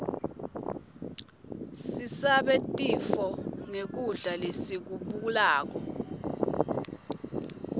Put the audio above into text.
sisabe tifo nqgkudla lesikublako